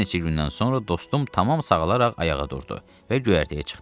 Bir neçə gündən sonra dostum tamam sağalaraq ayağa durdu və göyərtəyə çıxdı.